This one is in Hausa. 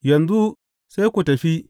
Yanzu sai ku tafi.